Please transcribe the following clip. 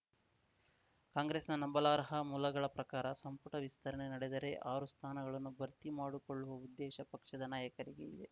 ಕಾಂಗ್ರೆಸ್‌ನ ನಂಬಲರ್ಹ ಮೂಲಗಳ ಪ್ರಕಾರ ಸಂಪುಟ ವಿಸ್ತರಣೆ ನಡೆದರೆ ಆರು ಸ್ಥಾನಗಳನ್ನು ಭರ್ತಿ ಮಾಡಕೊಳ್ಳುವ ಉದ್ದೇಶ ಪಕ್ಷದ ನಾಯಕರಿಗೆ ಇದೆ